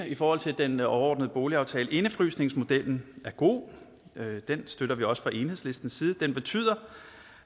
i forhold til den overordnede boligaftale indefrysningsmodellen er god den støtter vi også fra enhedslistens side den betyder